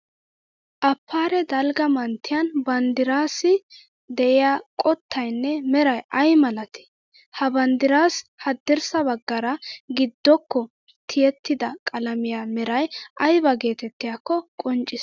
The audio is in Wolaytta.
Afaare dalgga manttiyan banddirassi de'iya qottayinne Meray ay malatii? Ha banddirassi hadirssa baggaara giddokko tiyetidda qalamiya Meray ayba geettettiyaakko qoncciss?